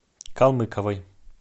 калмыковой